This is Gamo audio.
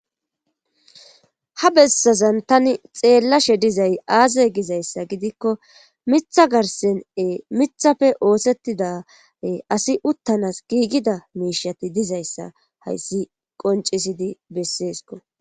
ha bessazan tani xeellashe dizay aaze gizayssa gidikko miththa garssen miththappe oosettida asi uttanas giigida miishshatti dizayssa hayssi qonccisidii besseeskko